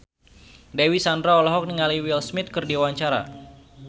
Dewi Sandra olohok ningali Will Smith keur diwawancara